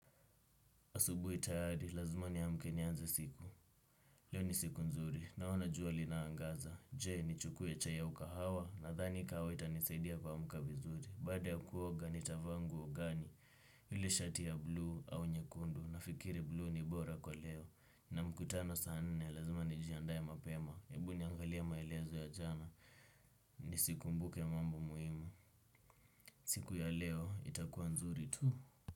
Asubuhi tayari, lazima niamke nianze siku. Leo ni siku nzuri, naona jua linaangaza. Je, nichukue chai ya ukahawa? Nadhani kahawa itanisaidia kuamka vizuri. Baada ya kuoga nitavaa nguo gani? Yule shati ya bluu au nyekundu? Nafikiri bluu ni bora kwa leo. Na mkutano saa nne, lazima nijiandaye mapema. Ebu niangalia maelezo ya jana. Nisikumbuke mambo muhimu. Siku ya leo, itakuwa nzuri tu.